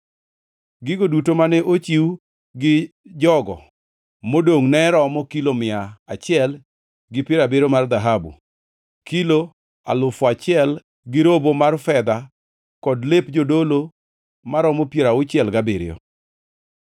Gigo duto mane ochiw gi jogo modongʼne romo kilo mia achiel gi piero abiriyo mar dhahabu, kilo alufu achiel gi robo mar fedha kod lep jodolo maromo piero auchiel gabiriyo.